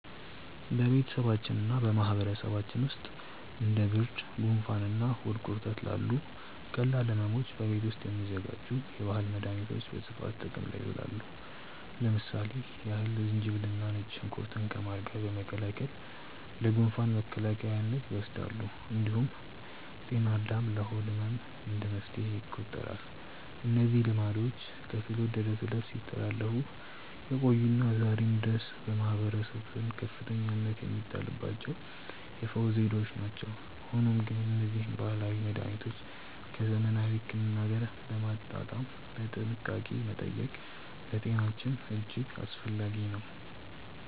በቤተሰባችንና በማህበረሰባችን ውስጥ እንደ ብርድ፣ ጉንፋንና ሆድ ቁርጠት ላሉ ቀላል ሕመሞች በቤት ውስጥ የሚዘጋጁ የባህል መድኃኒቶች በስፋት ጥቅም ላይ ይውላሉ። ለምሳሌ ያህል ዝንጅብልና ነጭ ሽንኩርት ከማር ጋር በመቀላቀል ለጉንፋን መከላከያነት ይወሰዳል። እንዲሁም ጤና አዳም ለሆድ ህመም እንደ መፍትሄ ይቆጠራሉ። እነዚህ ልማዶች ከትውልድ ወደ ትውልድ ሲተላለፉ የቆዩና ዛሬም ድረስ በማህበረሰቡ ዘንድ ከፍተኛ እምነት የሚጣልባቸው የፈውስ ዘዴዎች ናቸው። ሆኖም ግን እነዚህን ባህላዊ መድኃኒቶች ከዘመናዊ ሕክምና ጋር በማጣጣም በጥንቃቄ መጠቀም ለጤናችን እጅግ አስፈላጊ ነው።